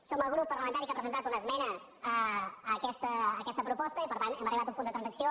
som el grup parlamentari que ha presentat una esmena a aquesta proposta i per tant hem arribat a un punt de transacció